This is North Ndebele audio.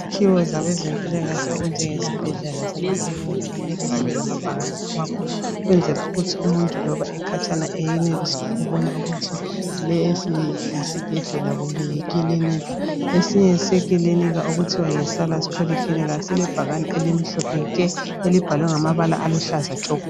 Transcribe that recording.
Izakhiwo zabezempilakahle ezinjengezibhedlela lamakilinika kumele zibe lamabhakane amakhulu ukwenzela ukuthi umuntu loba ekhatshana eyenelise ukubona ukuthi lesi yisibhedlela kumbe yikilinika esinye sekilinika okuthiwa yi salus polyclinika silebhakane elimhlophe nke elibhalwe ngamabala aluhlaza tshoko